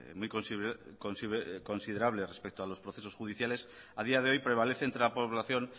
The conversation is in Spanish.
muy considerables respecto a los procesos judiciales a día de hoy prevalece entre la población